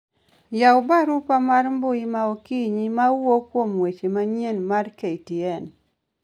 Yaw barupa mar mbui ma okinyi mawuok kuom weche manyien mar ktn